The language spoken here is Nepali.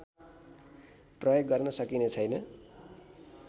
प्रयोग गर्न सकिने छैन